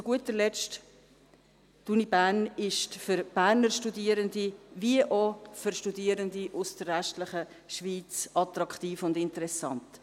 Zu guter Letzt ist die Universität für Berner Studierende wie auch für Studierende aus der restlichen Schweiz attraktiv und interessant.